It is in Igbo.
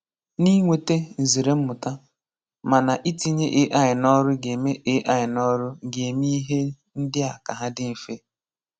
Nà inweta nzère mmụ̀tà. Mana, itinye AI n’ọ̀rụ̀ ga-eme AI n’ọ̀rụ̀ ga-eme ihe ndị a ka hà dị mfe.